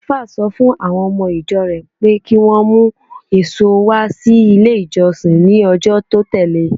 Àlùfáà sọ fún àwọn ọmọ-ìjọ rẹ̀ pé kí wọ́n mú èso wá sí ilé-ìjọsìn ní ọjọ́ tó tẹ̀le.